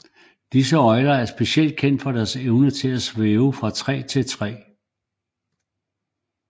Disse øgler er specielt kendt for deres evne til at svæve fra træ til træ